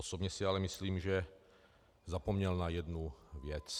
Osobně si ale myslím, že zapomněl na jednu věc.